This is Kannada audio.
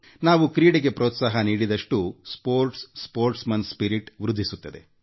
ನಾವು ಕ್ರೀಡೆಗೆ ಪ್ರೋತ್ಸಾಹ ನೀಡಿದಷ್ಟೂ ಕ್ರೀಡಾ ಮನೋಭಾವ ವೃದ್ಧಿಸುತ್ತದೆ